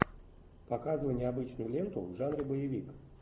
показывай необычную ленту в жанре боевик